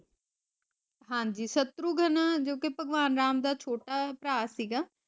ਸ਼ਾਤਰੁਗਨ ਜੋਕਿ ਭਗਵਾਨ ਰਾਮ ਦਾ ਸੋਲਾਂਹ ਅਵਤਾਰ ਸੀਗਾ